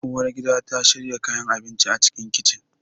Uwar gida ta shiyar kayan abinci a cikin kicin